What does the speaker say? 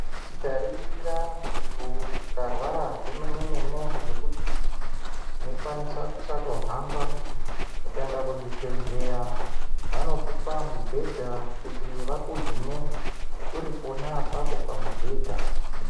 Tikaringira muntu ukarwara zvemene-mene zvekuti, unokwanisa kusatohamba, ukaenda kuzvibhedhleya, vanokupa mibhedha kuti vakuhine ,uri pona apapo pamubhedha.